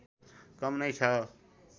कम नै छ